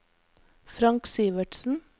Frank Syvertsen